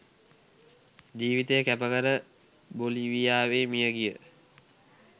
ජීවිතය කැපකර බොලීවියාවේ මියගිය